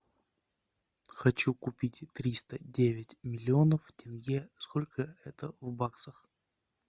хочу купить триста девять миллионов тенге сколько это в баксах